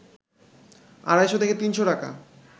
আড়াইশ থেকে ৩শ টাকা